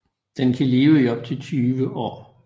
Den kan leve i op til 20 år